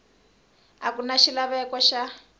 a ku na xilaveko xa